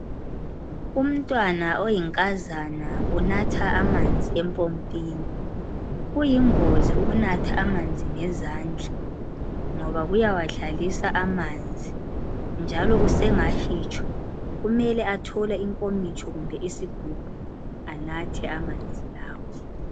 Umntwana oyinkazana unatha amanzi empompini. Kuyingozi ukunatha amanzi ngezandla ngoba kuyawadlalisa amanzi njalo usengahitshwa kumele athole inkomitsho kumbe isigubhu anathe amanzi lawo.